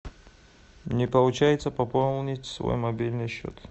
не получается пополнить свой мобильный счет